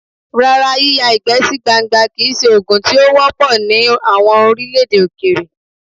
Rárá, yíyá ìgbẹ́ sí gbangba kì í ṣe ogun tí ó wọ́ pọ̀ ní àwọn orílẹ̀-èdè Òkèèrè.